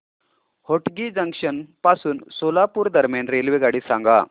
Hotgi junction पासून सोलापूर दरम्यान रेल्वेगाडी सांगा